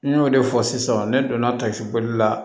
N y'o de fɔ sisan ne donna tasibɔli la